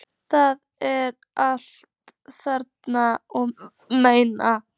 Það er alt annað og meira.